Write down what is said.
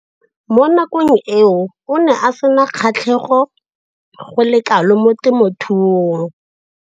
Mo nakong eo o ne a sena kgatlhego go le kalo mo temothuong.